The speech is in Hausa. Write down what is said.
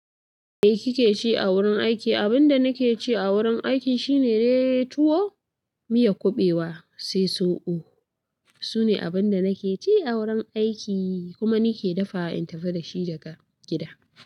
Me kike ci a wurin aiki? Abin da nake ci a wurin aiki shine dai tuwo, miyan kuɓewa sai soɓo. Sune dai abin da nake ci a wurin aiki kuma nike dafawa in tafi dashi daga gida.